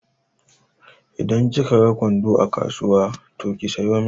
Idan kika ga kwando a kasuwa ki sayo min.